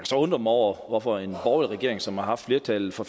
så undre mig over hvorfor en borgerlig regering som har haft flertallet fra